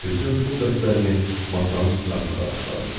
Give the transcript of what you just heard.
Bütün pul dəstlərimi masanın üstünə atmağa başladım.